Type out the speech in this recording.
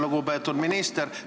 Lugupeetud minister!